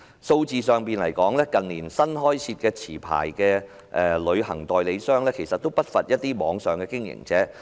數字上，近年新開設的持牌旅行代理商不乏網上經營者。